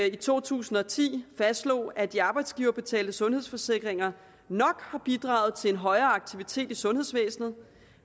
i to tusind og ti fastslog at de arbejdsgiverbetalte sundhedsforsikringer nok har bidraget til en højere aktivitet i sundhedsvæsenet